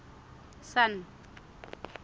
sun